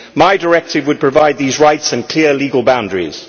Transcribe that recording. My directive would provide these rights and clear legal boundaries.